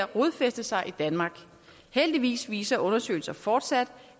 rodfæste sig i danmark heldigvis viser undersøgelser fortsat